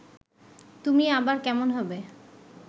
তুমি আবার কেমন হবে